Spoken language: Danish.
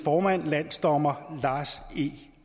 formand landsdommer lars e